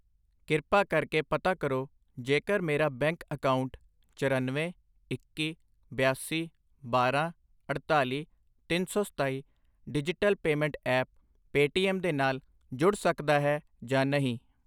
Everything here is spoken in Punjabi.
ਕ੍ਰਿਪਾ ਕਰਕੇ ਪਤਾ ਕਰੋ ਜੇਕਰ ਮੇਰਾ ਬੈਂਕ ਅਕਾਊਂਟ ਚਰਨਵੇਂ, ਇੱਕੀ, ਬਿਆਸੀ, ਬਾਰਾਂ, ਅੜਤਾਲੀ, ਤਿੰਨ ਸੌ ਸਤਾਈ ਡਿਜਿਟਲ ਪੇਮੈਂਟ ਐਪ ਪੇਟੀਐੱਮ ਦੇ ਨਾਲ ਜੁੜ ਸਕਦਾ ਹੈ ਜਾਂ ਨਹੀਂ?